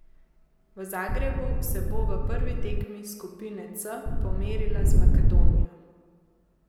V Zagrebu se bo v prvi tekmi skupine C pomerila z Makedonijo.